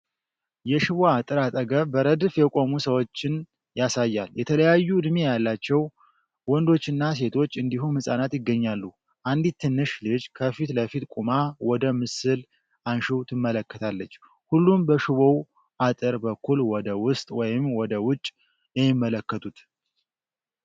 የሽቦ አጥር አጠገብ በረድፍ የቆሙ ሰዎችን ያሳያል። የተለያዩ ዕድሜ ያላቸው ወንዶችና ሴቶች እንዲሁም ህጻናት ይገኛሉ። አንዲት ትንሽ ልጅ ከፊት ለፊት ቆማ ወደ ምስል አንሺው ትመለከታለች። ሁሉም በሽቦው አጥር በኩል ወደ ውስጥ ወይም ወደ ውጭ የሚመለከቱት።